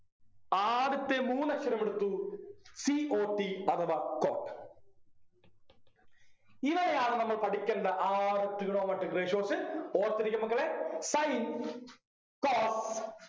ആദ്യത്തെ മൂന്നക്ഷരമെടുത്തു c o t അഥവാ cot ഇവയാണ് നമ്മൾ പഠിക്കേണ്ട ആറു Trigonometric ratios ഓർത്തിരിക്കു മക്കളെ sin cos